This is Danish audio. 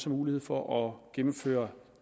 mulighed for at gennemføre